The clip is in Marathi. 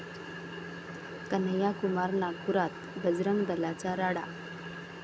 कन्हैया कुमार नागपुरात, बजरंग दलाचा राडा